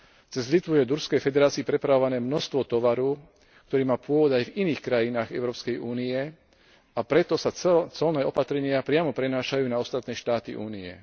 Cez Litvu je do Ruskej federácie prepravované množstvo tovaru, ktorý má pôvod aj v iných krajinách Európskej únie, a preto sa colné opatrenia priamo prenášajú na ostatné štáty Únie.